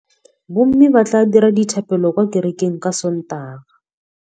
Bommê ba tla dira dithapêlô kwa kerekeng ka Sontaga.